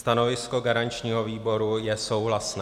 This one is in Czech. Stanovisko garančního výboru je souhlasné.